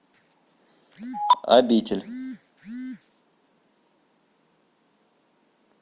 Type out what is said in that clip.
обитель